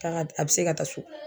Taga a bi se ka taa so